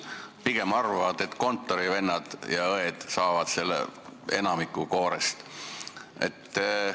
Pigem nad arvavad, et kontorivennad ja -õed saavad enamiku sellest koorest.